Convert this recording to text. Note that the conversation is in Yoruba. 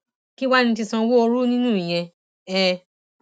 kí wàá ní ti sanwóoru nínú ìyẹn um